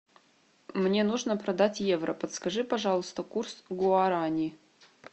мне нужно продать евро подскажи пожалуйста курс гуарани